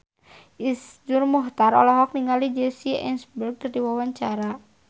Iszur Muchtar olohok ningali Jesse Eisenberg keur diwawancara